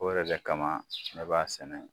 O yɛrɛ de kama ne b'a sɛnɛ.